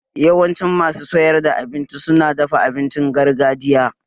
Yawancin masu sayar da abinci su na dafa abincin gargajiya